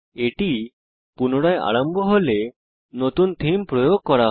এটি পুনরায় আরম্ভ হলে নতুন থীম প্রয়োগ করা হয়